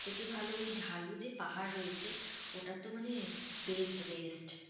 থেকে ভালো ওই ঢালু যে পাহাড় রয়েছে, ওটা তো মানে best best